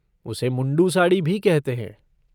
उसे मुंडू साड़ी भी कहते हैं।